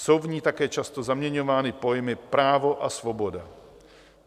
Jsou v ní také často zaměňovány pojmy právo a svoboda.